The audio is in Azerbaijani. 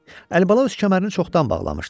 Əlibala öz kəmərini çoxdan bağlamışdı.